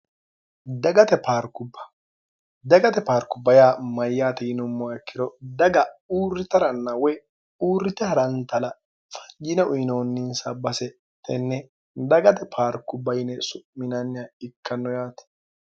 ddagate paarku bayaa mayyaati inommoakkiro daga uurri taranna woy uurrite harantala fajina uyinoonninsa base tenne dagate paarku bayine su'minnnia ikkanno yaati